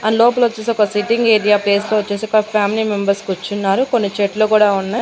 And లోపలొచ్చేసి ఒక sitting area place లో వచ్చేసి ఒక ఫ్యామిలీ మెంబర్స్ కుచ్చున్నారు కొన్ని చెట్లు కూడా ఉన్నాయ్.